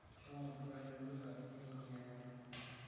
Shomo irurai tolorika iyeng'iyeng'ai.